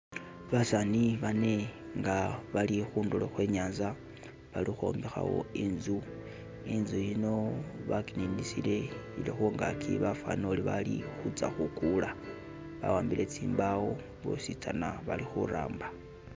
Basani bane nga bali khu ndulo khwe nyanza bali ukhwombekhawo inzu, inzu yino bakininisile ili khungaki bafanile uli batsa khukula, bawambile boost bositsana bali khuramba